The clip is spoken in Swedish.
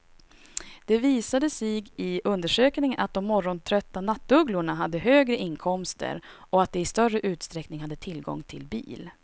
Det visade sig i undersökningen att de morgontrötta nattugglorna hade högre inkomster och att de i större utsträckning hade tillgång till bil.